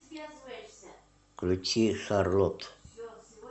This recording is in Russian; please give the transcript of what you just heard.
включи шарлот